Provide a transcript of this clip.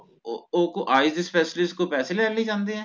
ਓਹ ਓਹ eyes specialist ਕੋਲ ਪੈਸੇ ਲੈਣ ਲਈ ਜਾਂਦੇ ਆ